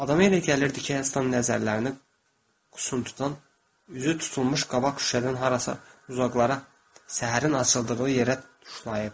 Adama elə gəlirdi ki, Herston nəzərlərini qusun tutan üzü tutulmuş qabaq şüşədən harasa uzaqlara, səhərin açıldığı yerə tuşlayıb.